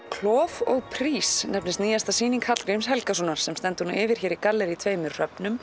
klof og prís nefnist nýjasta sýning Hallgríms Helgasonar sem stendur nú yfir í gallerí tveimur